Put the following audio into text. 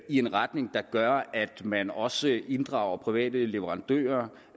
i en retning der gør at man også inddrager private leverandører